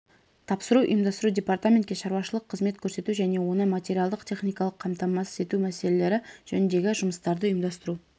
тапсыруды ұйымдастыру департаментке шаруашылық қызмет көрсету және оны материалдық-техникалық қамтамасыз ету мәселелері жөніндегі жұмыстарды ұйымдастыру